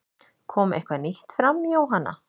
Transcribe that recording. Kom eitthvað nýtt fram Jóhanna?